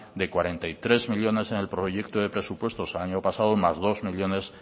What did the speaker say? de cuarenta y tres millónes en el proyecto de presupuestos del año pasado más dos millónes